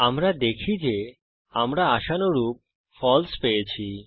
আমরা দেখি যে আমরা আশানুরূপ ফালসে পেয়েছি